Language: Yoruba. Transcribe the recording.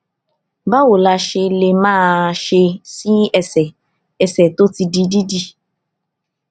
báwo la ṣe lè máa ṣe sí ẹsè ẹsè tó ti di dídì